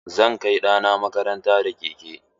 Zan kai ɗana makaranta da keke.